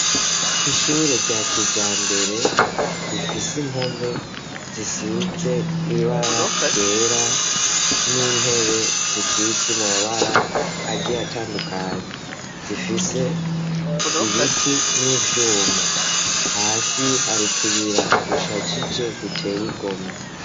Ishure rya kijambere rifise impome zisize ibara ryera n'intebe zisize amabara agiy'atandukanye zifise ibiti n'ivyuma hasi harutuyira dushagije dutey' igomwe